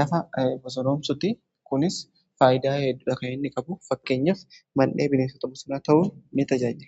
lafa bosonomsuti kunis faayidaa heddudha kan inni qabu fakkeenyaf mandhee bineensota busonaa ta'uu in tajaajila.